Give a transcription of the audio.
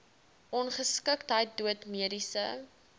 ongeskiktheid dood mediese